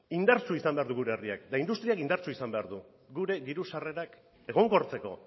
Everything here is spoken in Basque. indartsu izan behar du gure herriak eta industriak indartsu izan behar du gure diru sarrerak egonkortzeko